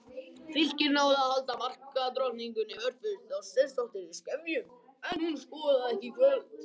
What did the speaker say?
Fylkir náði að halda markadrottningunni Hörpu Þorsteinsdóttur í skefjum en hún skoraði ekki í kvöld.